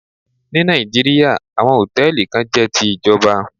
Ní Nàìjíríà, àwọn Hòtẹ́lìì kan jẹ́ ti ìjọba.